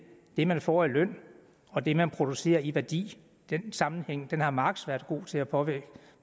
det man får i løn og det man producerer i værdi den sammenhæng har marx været god til at påvise